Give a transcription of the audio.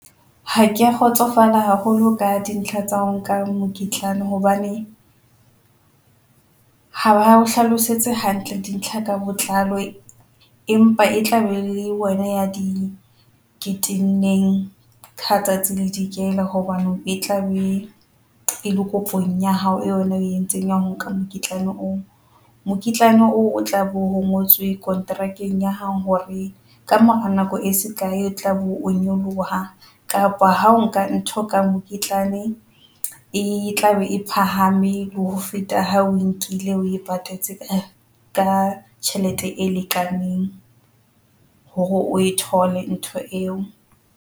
Ha kea kgotsofala haholo ka dintlha tsa nka mokitlano hobane ha o hlalosetse hantle dintlha ka botlalo, empa e tla be le wena ya dinyewe kitcheneng ka tsatsi le dikela. Hobaneng e tla be e le kopong ya hao. Yona e entseng ya nka mokitlane o mokitlane o o tla bo ho ngotswe kontrakeng ya hao hore ka mora nako e sekae o tla bo nyoloha, kapa ha nka ntho ka mokitlane e tlabe e phahame ho feta. Ha o nkile oe patetse ka tjhelete e lekaneng hore o e thole ntho eo.